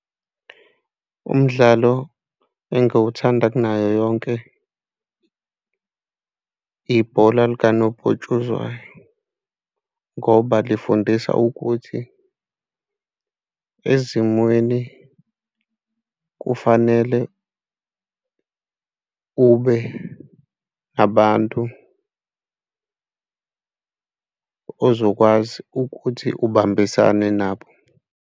Umdlalo engiwuthanda kunayo yonke, ibhola likanobhutshuzwayo ngoba lifundisa ukuthi ezimweni kufanele ube abantu ozokwazi ukuthi ubambisane nabo.